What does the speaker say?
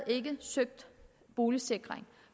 søgt boligsikring